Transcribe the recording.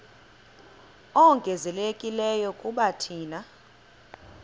ongezelelekileyo kuba thina